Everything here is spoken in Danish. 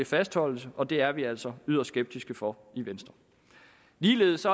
fastholdes og det er vi altså yderst skeptiske over for i venstre ligeledes